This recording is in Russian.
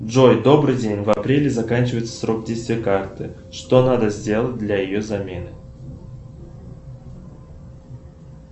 джой добрый день в апреле заканчивается срок действия карты что надо сделать для ее замены